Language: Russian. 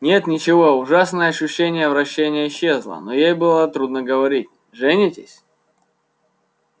нет ничего ужасное ощущение вращения исчезло но ей было трудно говорить женитесь